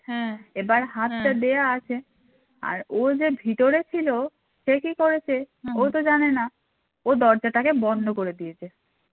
আর ও যে ভেতরে ছিল সে কী করেছে ও তো জানেনা ও দরজাটাকে বন্ধ করে দিয়েছে